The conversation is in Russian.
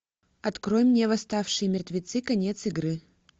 открой мне восставшие мертвецы конец игры